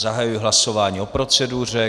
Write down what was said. Zahajuji hlasování o proceduře.